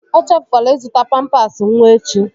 Echefukwala ịzụta pampas nwa echi!